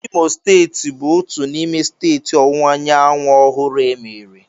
Imo steeti bụ otu n'ime steeti Ọwụwa Anyanwụ ọhụrụ emere.